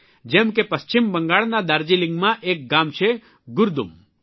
જેમ કે પશ્ચિમ બંગાળના દાર્જીલિંગમાં એક ગામ છે ગુરદુમ